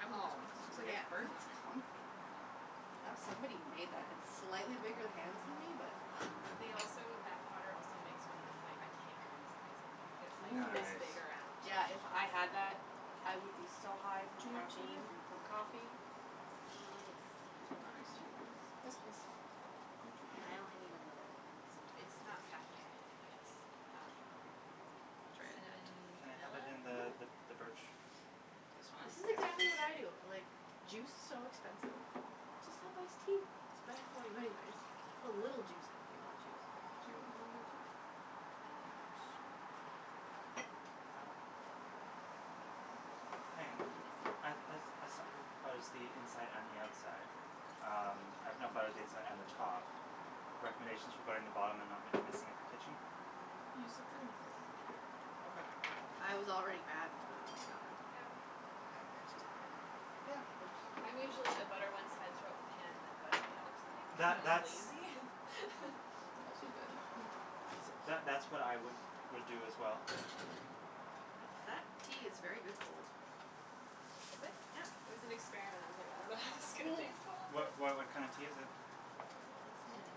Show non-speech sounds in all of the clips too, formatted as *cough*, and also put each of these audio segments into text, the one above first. I'd want this Oh one cuz it looks like it yeah has birds on that's it comfy. Isn't That it pretty? somebody made that had slightly bigger hands than me but They also that potter also makes one that's like a tankard size mug, it's like Ooo this Nice! big around Yeah if I had that I would be so high from Do you want tea caffeine Matthew? from coffee Uh, yes You want iced tea? please Yes please You too? I only need a little bit please. It's not caffeinated and it's um Try it that cinnamon Can I have vanilla? it in the th the birch This one? Yes This is yes exactly what I please do. Like, juice's so expensive. Just have iced tea, it's better for you anyways, you put a little juice in if you want juice Do you want a mug of tea? Um, sure Okay Uh Meagan, Yes as as as som who butters the inside and the outside, um, I've now buttered the inside and the top, recommendations for buttering the bottom and not m messing up your kitchen? Use the cutting board Okay I was already bad and put it on the counter. Eh whatever *laughs* Just butter Yeah I jus I'm usually the butter one side throw it in the pan and then butter the other side That cuz I'm that's lazy. *laughs* Also good *laughs* See that that's what I would would do as well. That Um tea is very good cold. Is it? Yeah It was an experiment, I was like, I don't know how this is gonna *noise* taste cold What but why what kinda tea is it? Like cinamonny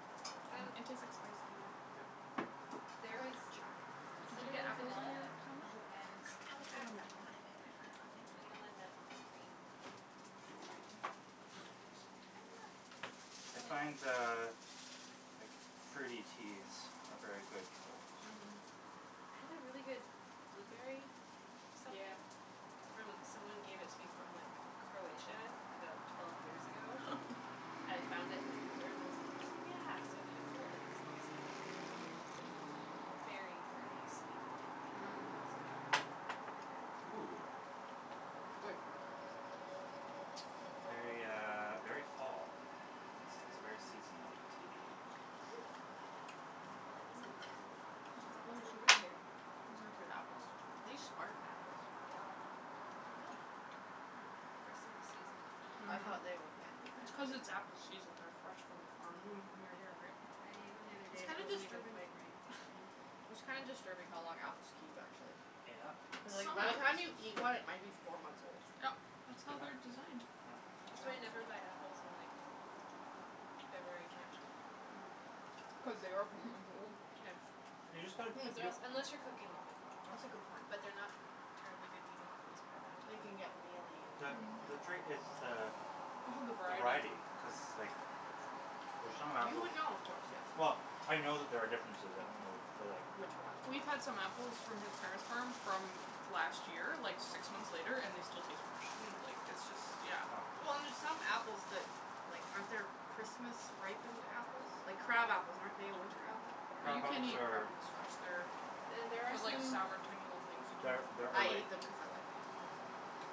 Um It Hmm tastes like spice tea, yeah Yeah There is Chai kinda Did you get cinnamon, apples on vanilla your sandwich? No, and I was the ah one that wanted it, I forgot thank you vanilla nut *noise* cream This is hard to flip, the sandwich, I find hiyah! *inaudible* uh like fruity teas are very good cold. Mhm Mhm I had a really good blueberry something Yeah from someone gave it to me from like Croatia about twelve years ago *inaudible* I found it in the cupboard and I was like "oh yeah" so I made it cold and it was awesome, cuz it was like berry fruity sweet but not *noise* like Mmm overly sweet Ooh That's good. *noise* Very uh very fall, it's it's a very *noise* seasonal tea. Hm Oh that is good. *inaudible* This It's apple almost is so like root good. beer. *noise* These are good apples, are these spartan apples? Gala *inaudible* Hm First of the season gala *noise* *noise* I Mhm thought they were fancy It's cuz fancy. it's apple season and they're fresh from the farm, *noise* like, mhm near here right? I ate one the *noise* other day It's and it kinda wasn't even disturbing quite ripe. *laughs* *noise* it's kinda disturbing how long apples keep actually. Yep Cuz like Some by the time you apples eat one it might be four months old. Yep, that's how they're designed. *noise* That's why I never buy *inaudible* apples in like *noise* February March Mm *noise* *noise* Cuz they are four months old. *laughs* Yeah You just gotta, hm Because they're yeah als- unless *noise* you're cooking with them *noise* That's a Yep good point. But they're not terribly good eating apples by that They time. can get mealy and The Mhm the yeah trait is the All the the variety variety cuz like, *noise* f for some You apples, would know of course yes well, I know that there are differences I don't know *noise* but like Which ones We've but had some apples from his parents' farm from last year, like six months later, and they still taste fresh Mm like it's just, yeah *noise* Well and there's some apples that like, aren't there Christmas ripened apples, like crab apples, aren't they a winter apple? Well you Crab can't apples eat crab are apples fresh, they're, And there are they're like some sour tiny little things, you can't They're eat them they're I fresh. ate *inaudible* them cuz I like them.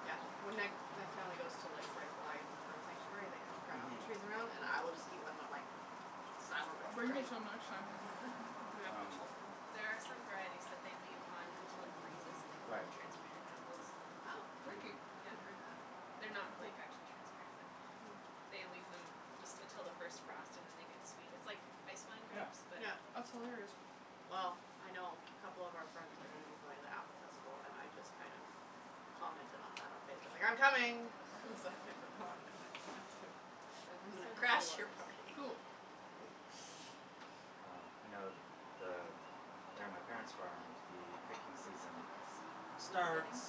Yeah when I my family goes to like Reifel Island Bird Sanctuary they have crab Mhm apples trees around and I will just eat one and I'm like Sour but I'll it's bring you great! some next time we go, *laughs* if we have Um There are some *inaudible* *noise* varieties that they leave on until it freezes and they call Right them transparent apples. Oh, Freaky Mhm Yeah haven't heard that. They're not Cool like, Yeah actually transparent but They leave them just until the first frost and then they get sweet, it's like ice wine Yeah grapes but Yeah apple That's hilarious Mm Well Mm I know a couple of our friends are going to be going to the apple festival and I just kind of commented on that on Facebook li "I'm coming!" Cuz *laughs* I've never gone and I want to. *laughs* Yeah So I'm this gonna one is crash you're yours. party! Cool That *laughs* one's Mm mine. *noise* well I know th the there on my Why parent's farm don't you the picking put, some season dip in this, for starts dipping,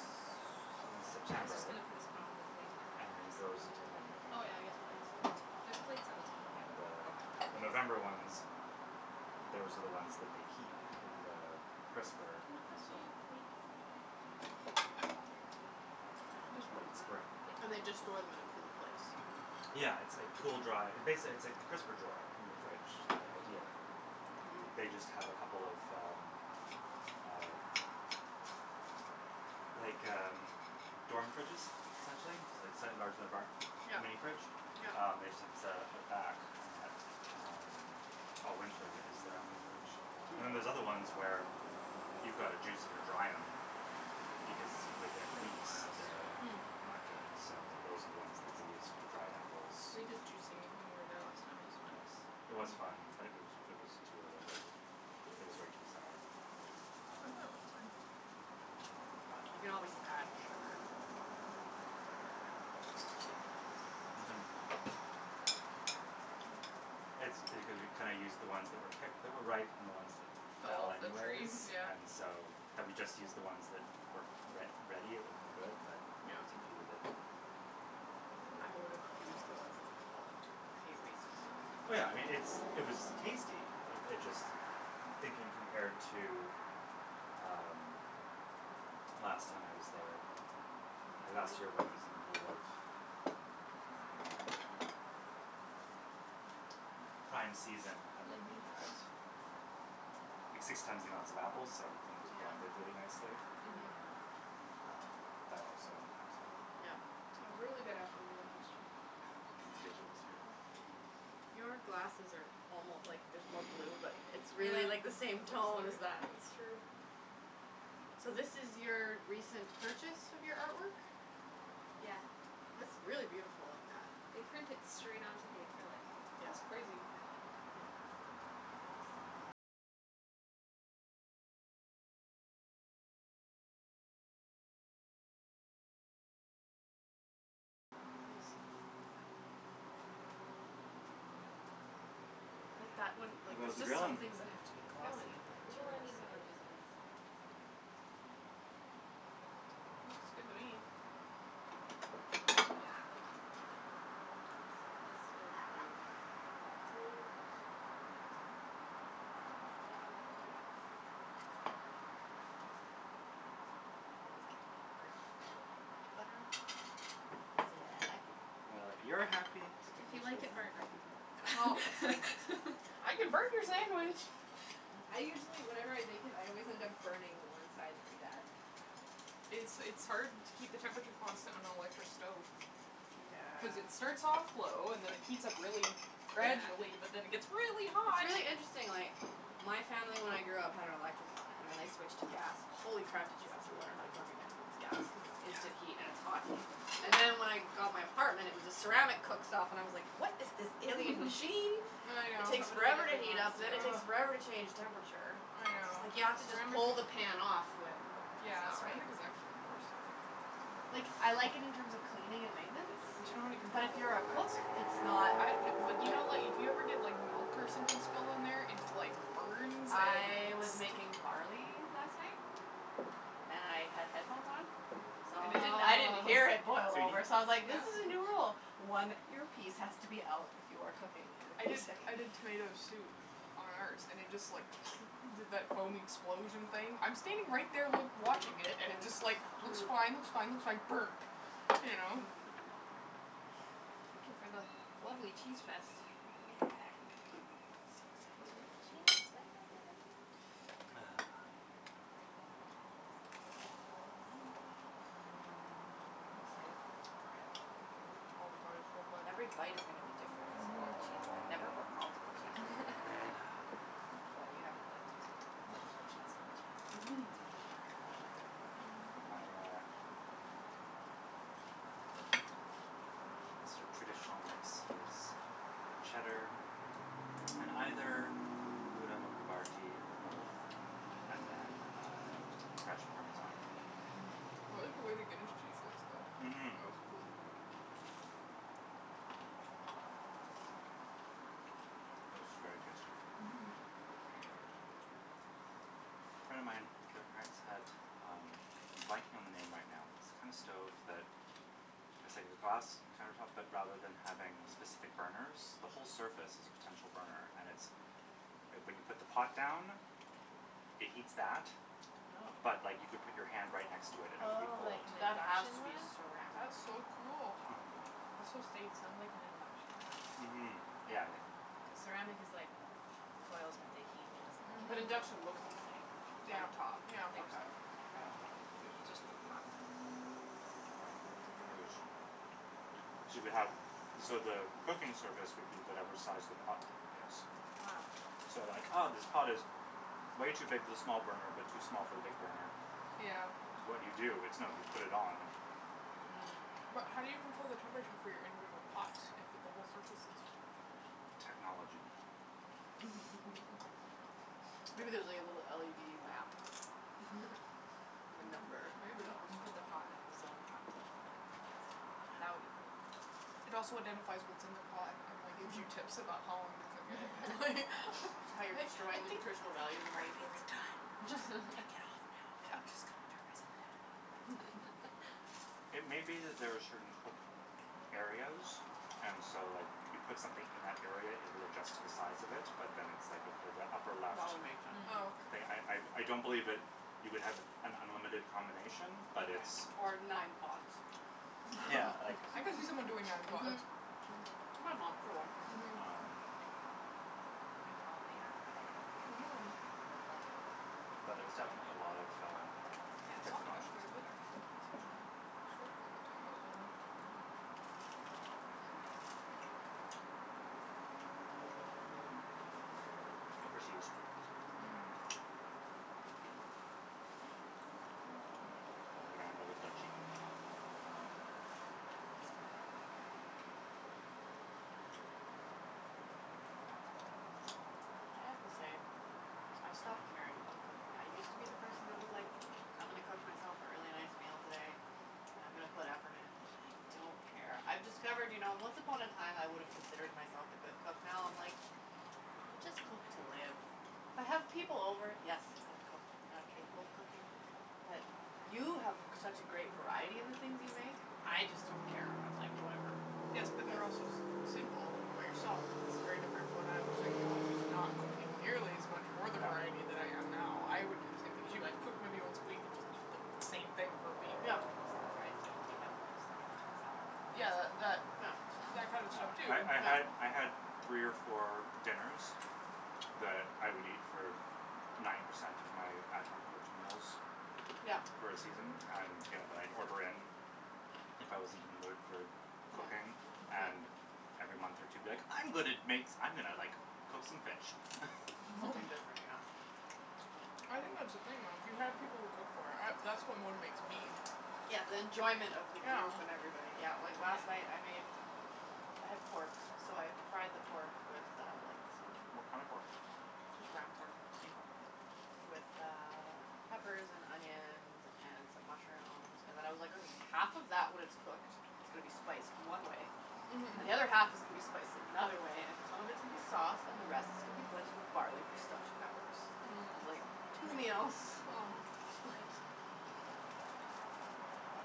is that okay? Oh in yeah, I was September just gonna put a spoon in the thing and and everyone can then just throw goes it on their until mid plate but Oh November. yeah I guess plates too There's plates on the Um table. and the Okay the November ones, those are the ones that they keep in the crisper Can you pass me until a plate? Um you know This one's late mine? Spring Oh *noise* mhm Yeah And they just store them in a cool place? I can Yeah it's like cool dry, basically it it's *inaudible* like the crisper drawer in your *noise* fridge, that idea They just have a couple of um Mm uh Like um, dorm fridges essentially like *inaudible* a bar, a Yep mini fridge, yep um they just have them set up at the back and that all winter is their apple fridge And then there's Hm other ones where, you've gotta juice em or dry em because within They don''t weeks last, they're yeah Hm not good, so those are the ones that they use for the dried apples. We did juicing when we were there Um last time, it was fun yes, it was fun but it was it was too early they were *noise* it was Whoops! way too sour, Mm I thought That it um was was too bad fine. But You *noise* can always add sugar. But then you have to change your labels and all that stuff Mhm That's because we kinda used the ones that were picked that were ripe and the ones that Fell fell off the tree, anyways yeah *laughs* and so, had we just used the ones that were re ready it would have been good but there Yep was a few that ruined I it. would've use the ones that had fallen too cuz I hate wasting stuff. Oh yeah I mean, it's *inaudible* it was tasty, uh it just thinking compared to um, last time I was there, or last *inaudible* year when *inaudible* it was in the middle of um *inaudible* Prime season and then we Mhm *noise* had six times the amount of apples so everything was blended really nicely. Mhm Mhm Um that also impacts it. Yep It was a really good apple year last year Was a ridiculous year Your glasses are almo like there's more blue but it's Ah, really it like the looks same tone as like, that that's *laughs* true So this is your recent purchase of your artwork? Yeah It's really beautiful like that. They print it straight onto the acrylic. Yeah That's crazy. yeah Nice Yep Yeah But that one How like there's goes the just some grilling? things that have to be It's going. glossy and It's that a little material is so uneven on good for these that. ones, I have to say but Oh It's Looks good okay. to me! Those are done. Another Hiyah! plate So *noise* this will be Matthew's! *inaudible* And this is light on the butter enough for you I always get mine burnt cuz I don't put much butter on That's the way I like it. Well if you're happy It's If you delicious. then like it I'm burnt I can happy. throw it *noise* back *laughs* on. *laughs* I can burn your sandwich! I usually whenever I bake it I always end up burning one side pretty bad It's it's hard to keep the temperature constant on an electric stove. Cuz it Yeah starts off low, and then it heats up really It's Yeah gradually but then it gets really it's hot! really interesting like my family when I grew up had an electric one and then I switched to gas, holy crap did you have to learn how to cook again when it's gas cuz it's instant heat and it's hot heat And then when I got my apartment it was a ceramic cooktop and I was like "what is this alien *laughs* machine?" I It know, takes Totally forever to different heat up then it monster ugh, takes forever to change temperature. I Just know like you have to just Ceramic pull is, the pan off whe it's yeah not right ceramic is actually the worst I think for cooking. Like I like it in terms We of could cleaning probably and fit the maintenance veggie thing But you don't on have any the but control if table. you're a cook, it's *inaudible* not Good Yeah but do idea. you good know like, if you ever get like milk or something spilled on there its like burns and I was sti making barley last night. And I had headphones on, so And it didn't I didn't hear it boil Oh! over so *inaudible* I was like "this Yeah is a new rule, *laughs* one earpiece has to be out when you are cooking with I did music". I *laughs* did tomato soup on ours and it just like *noise* did that foam explosion thing, I'm standing right there loo watching it and it just like, looks fine looks fine looks fine...burp! You know? *laughs* *laughs* Thank you for the lovely cheese fest. Yeah Yeah Cheese fest! *noise* *noise* Mmm I'm excited Mmm for this bread. mmm, oh the bread is so good, Every bite is gonna to be different cuz of all mhm the cheese. I've never put multiple cheeses in. *noise* *laughs* *noise* Ahh Well you haven't lived until you've had a multiple cheese grilled cheese. Mhm My uh Yes My sorta *noise* traditional mix is cheddar *noise* and *noise* either grouda or *noise* I havarti or both and then uh fresh parmesan. *noise* like the way the Guinness cheese looks though, it Mhm looks cool. mhm *noise* This is very tasty. *noise* Mhm *noise* A friend of mine, their parents had, um, I'm blanking on the name right now but it's the kinda stove that, it's like the glass counter tops but rather than *noise* having specific burners, the whole surface is a potential burner and it's *noise* like when you put the pot down, it heats *noise* that *noise* oh but like you could put your hand right next to it and it would be Oh, like *noise* cold. *noise* an That has induction to be one? ceramic That's so cool! top Mhm. That's so safe. It sound like an induction one, Mhm, yeah, I think cuz ceramic is *noise* like, the coils but they heat and it *inaudible* *noise* doesn't But Mhm. *noise* I think induction so. looks the same Yeah, on the top? yeah. Okay, *noise* k that's why I'm confused. It's just the path are different. *noise* Oh. *noise* Yeah. *noise* Yeah, it was *noise* so you could have, so the cooking surface would be whatever size the pot is. So then like ah, this pot is way too big for the small burner but too small for the big burner, *noise* Yeah. what do you do? It's no, you put it on. *noise* Mm. *noise* *noise* But how do you control the temperature for your individual pots, if at the whole surface is Technology. *noise* Okay. *laughs* *noise* Maybe there's like a little LED map *noise* with a Hmm. number. Maybe. Who *laughs* knows? You *noise* put the pot down, the zone pops up and then you put your *inaudible* in. That would be cool. *noise* It also identifies what's in the pot, and like gives you tips about how long to cook it, and, like Yeah. *laughs* like, *noise* "I How you're think, I destroying the think your nutritional value the more you gravy cook is it. *noise* done, just, take it off now, b- I'm just gonna turn myself down now, if that's okay." *noise* It may be that there are certain cook areas and so like, you put something in that area it will adjust to the size of it, but then it's like, okay *laughs* *noise* the upper *noise* left. That would make sense. Oh But I, I, okay. I don't believe that you would have an unlimited combination, but *noise* it's *noise* Or nine pots. Yeah, *laughs* like *laughs* I can see someone doing nine pots. Mhm. Mhm. My mom, for one. *noise* *noise* Um Good call on the apple by the way. Mhm. *noise* Mhm. I like it. *noise* But there's definitely a lot of, uh, Yeah, it different softened up options. quite a bit actually *noise* Yes. *noise* considering how short of a *noise* time it was on there. Mhm. This was in *noise* overseas. *noise* *inaudible* *noise* Mm. *noise* *noise* In the Grand Old Duchy. *noise* *laughs* *noise* I have to say, *noise* I've stopped caring about cooking. I used to be the person that was like, "I'm gonna cook myself a really nice meal today, *noise* and I'm gonna put effort in." I don't care. I've discovered you know, once upon a time I would've considered myself a good cook now I'm like, you just cook to live. If I have people over, yes, I cook, and I'm capable of cooking, but you have such a *noise* great variety in the things you make. I just don't care, I'm like, "Whatever." *noise* *noise* Yes Yeah. but they're also s- *noise* single, when you're by yourself it's very different. When I was single I was not cooking *noise* nearly as much *noise* or the variety that I am now. I would do the Yeah. same thing as you. I've cooked many once a week and just eat the same Yeah. *noise* thing for a week. I miss the fried T&T dumplings thrown Yeah. into a salad *noise* compressor. Yeah, that *noise* that kind of *noise* stuff too. *laughs* Yeah, I'm sure I I had, I had, three or four Yeah. dinners, *noise* that I would eat for n- *noise* *noise* ninety percent of my at home cooked meals, *noise* *noise* Yeah. for a season, and, you know, that I'd order in. Yep. If I wasn't in the mood for cooking, *noise* and every month or two be like, *noise* "I'm gonna Yeah. make s- , I'm gonna like, cook some fish." *laughs* *noise* *noise* *noise* Um Something *laughs* *noise* different, *noise* Mhm. *noise* *laughs* *noise* I think that's the thing though, if you had people to cook for, I, that's what motivates me. yeah. *noise* Yeah, the *noise* enjoyment of the group and Yeah. everybody. Yeah, like last night I made *noise* I had pork, so I fried the pork with uh like, some What kinda pork? *noise* Just ground pork *noise* Mkay. *noise* with uh, peppers and onions and some mushrooms and then I was like, okay half of that when it's cooked *noise* is gonna be spiced one way *noise* *noise* And Mhm. the other half is gonna be spiced in another way, and Mhm. some of it's *noise* gonna be sauce, and the rest is gonna be blended with barley for stuffed peppers. *noise* Mm. Like, two meals. *noise* *noise* Split. Right. But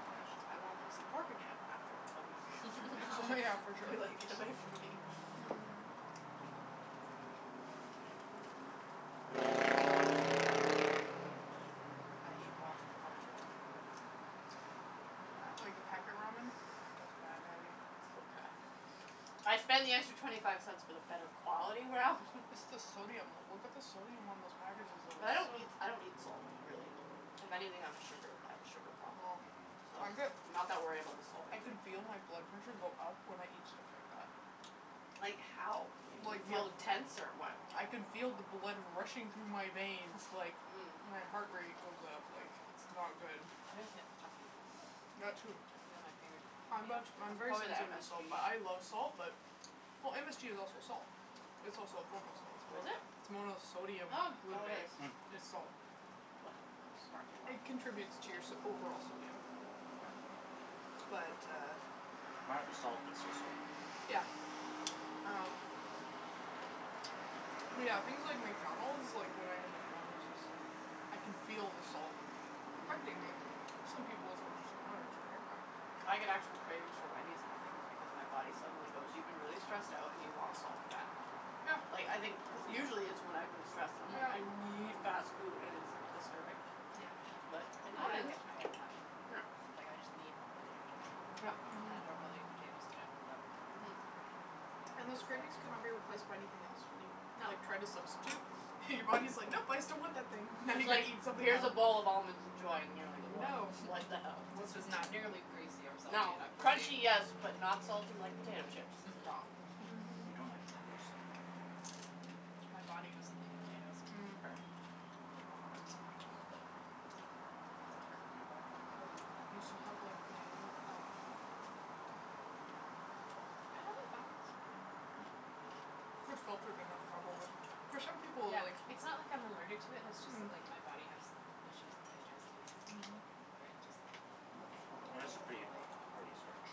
I won't wanna see pork again after a week, from now Yeah, for sure. *laughs* be like, "Get away from me." *noise* *laughs* *laughs* Nice. Mhm. *noise* *noise* *noise* *noise* I eat ramen far too much at work. Yeah. *noise* *noise* Like the packet ramen? That's It's bad, Natty. bad. *noise* So Mm. bad. *noise* I spend the extra twenty five cents for the better quality ramen. *noise* It's the sodium, look at the sodium on those *noise* *noise* packages though. But I It's don't so eat, I *noise* don't eat salt, really. If anything, I'm a sugar, I have a sugar *noise* problem. Oh. *noise* So, I I'm bet not that worried about the salt I can intake. feel my blood pressure go up when I eat stuff like that. *noise* *noise* *noise* Like Like, Mhm. how? You, you the, feel tense or what? *noise* *noise* I can feel the blood rushing through my veins, like, my heart rate goes *noise* up, like, it's not good. *laughs* I just get puffy. *noise* I That *inaudible* too. *noise* I'm puffy much, Mm. *noise* I'm That's afterwards. very probably the sensitive to salt MSG. but I love salt. But, well MSG is also salt. It's also a form of salt. *noise* It's Oh is mo- it? *noise* it's Oh, so monosodium glutamate. it is. Mm. It's Well, salt. look how smart you are. It contributes to your *noise* so- overall sodium. Yes. *noise* But uh Might be salt, but it's still sodium. Yeah. Um *noise* yeah, things like McDonald's, like *noise* when I have McDonald's, it's like, I can feel the salt, affecting me. Some people it's worse than others, right? Mm. *noise* I get *noise* Mm. actual cravings for Wendy's and I think it's *noise* because my body suddenly goes, "You've been really stressed out and you want salt and fat." Yeah. Like, I *noise* think cuz usually it's when I've been *noise* stressed and I'm like, Yeah. "I need fast food," and it's disturbing? Mm. *noise* Yeah, *noise* But it yeah I happens. get *noise* I *inaudible* *noise* get mad. Yeah. Like, I just need potato *noise* Yep. *noise* chips, and Mhm. I don't really eat potatoes in general, but Mhm. *noise* *noise* And Sometimes those it's just cravings *noise* cannot like be replaced by anything else, when you, No. like, try to substitute and your body's like, "Nope! I still want that *noise* thing." "Now you It's gotta like, eat something "Here's a else." bowl of almonds, enjoy." And you're like, "What? No. What the hell?" *laughs* *noise* "This is not nearly greasy or salty No. *noise* enough for Crunchy, me." *noise* Mhm. yes, *noise* but not salty like potato chips. It's wrong. *laughs* *noise* Mhm. You don't like potatoes? *noise* My body doesn't like potatoes. *noise* *noise* Mm. Fair. Oh. *noise* It's uncomfortable. *noise* You still have like potato alcohol? Like vodka? *noise* I have a vodka *noise* Those too you're gonna have trouble with. For some *inaudible* *noise* people, Yeah, like It's not like I'm allergic *noise* to it, it's just that Mm. *noise* like my body has issues digesting *noise* it. Mhm. Where it just bloats *noise* Potatoes are pretty uncomfortably. hearty starch. *noise*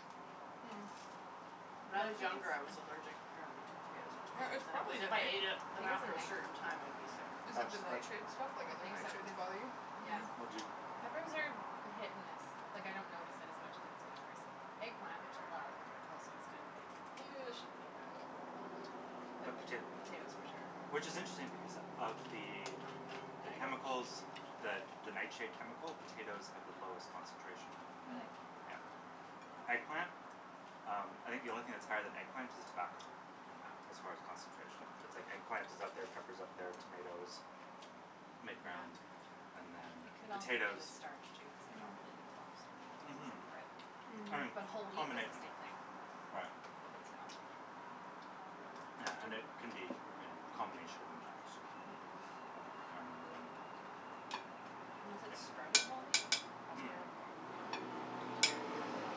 *noise* Mm. *noise* When I But I was think it's younger, I was allergic apparently to potatoes *noise* and Or tomatoes it's and it was probably if I ate it *inaudible* I then think it's a after a night certain time I'd be sick. *noise* Is it That's the that *noise* nightshade stuff? Like I other think so, nightshades cuz, bother you? yeah. But Mhm. do Peppers are hit and miss, like I don't notice it as much if it's peppers. Eggplant, which I love, also is kind of like, ew I shouldn't eat that. you *noise* But potato Potatoes for *noise* *noise* sure. Which is interesting because *noise* of the *noise* the I chemicals, the don't the nightshade eat chemical? Potatoes have the potatoes. lowest concentration. *noise* Mm. Really? Yeah. *noise* Eggplant? Um, I think the only thing that's higher than eggplant is tobacco. Wow. As far as concentration, but it's like eggplant is up there, pepper's up there, tomatoes, mid-ground, and then It could also be the potatoes. starch too, cuz I con't really Mm. eat a lot of starchy *noise* things Mhm. except *noise* bread, Mhm. but whole *noise* wheat does the Combination. same thing. Right. So. Yeah, and it Tristan. can be you know, a *noise* combination of impacts. *noise* Mhm. But I remember when *noise* Unless it's sprouting whole wheat? *noise* That's Mm. fine. It's weird.